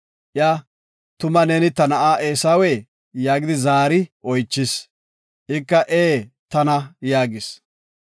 Iya, “Tuma neeni ta na7a Eesawee?” yaagidi zaari oychis. Ika, “Ee, tana” yaagis.